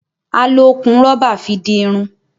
A lò okùn rọ́bà fí dì Irun